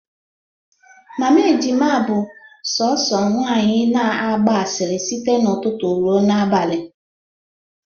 Mama Ejima bụ sọọsọ nwanyị na-agba asịrị site n'ụtụtụ ruo n'abalị